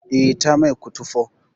Eh, ta mai kutufo